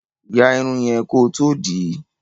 Ya Irun yen kò tó dì í